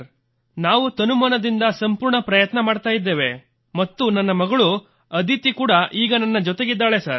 ನಾವು ತನುಮನದಿಂದ ಸಂಪೂರ್ಣ ಪ್ರಯತ್ನ ಮಾಡುತ್ತಿದ್ದೇವೆ ಮತ್ತು ನನ್ನ ಮಗಳು ಅದಿತಿ ಕೂಡ ನನ್ನ ಜೊತೆಗಿದ್ದಾಳೆ ಸರ್